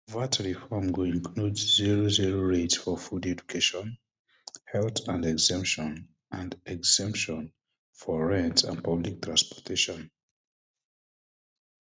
vat reform go include zero zero rate for food education um health and exemption and exemption for rent and public transportation